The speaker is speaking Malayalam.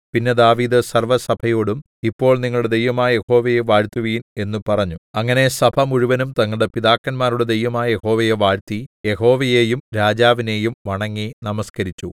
പിന്നെ ദാവീദ് സർവ്വസഭയോടും ഇപ്പോൾ നിങ്ങളുടെ ദൈവമായ യഹോവയെ വാഴ്ത്തുവിൻ എന്നു പറഞ്ഞു അങ്ങനെ സഭമുഴുവനും തങ്ങളുടെ പിതാക്കന്മാരുടെ ദൈവമായ യഹോവയെ വാഴ്ത്തി യഹോവയെയും രാജാവിനെയും വണങ്ങി നമസ്കരിച്ചു